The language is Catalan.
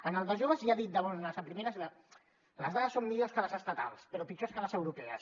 en el de joves ja ha dit de bones a primeres les dades són millors que les estatals però pitjors que les europees